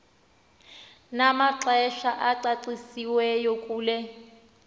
namaxesha acacisiweyo kule